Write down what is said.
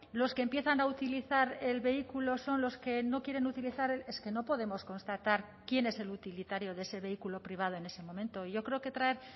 los que empiezan a utilizar el vehículo son los que no quieren utilizar es que no podemos constatar quién es el utilitario de ese vehículo privado en ese momento yo creo que traer